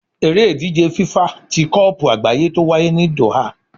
Eré ìdíje FIFA tí kopu àgbáyé tó wáyé ní Doha